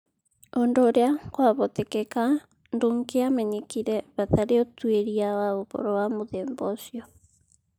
Ũndũ ũria kwahotekeka ndũngĩamenyekire hatarĩ ũtuĩria wa ũhoro wa mũthemba ũcio.